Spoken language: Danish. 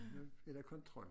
Nu er der kontrol